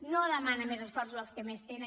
no demana més esforços als que més tenen